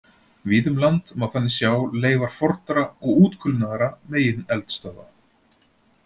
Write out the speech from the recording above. Víða um land má þannig sjá leifar fornra og útkulnaðra megineldstöðva.